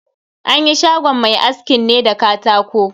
An yi shagon mai askin ne da katako.